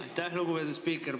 Aitäh, lugupeetud spiiker!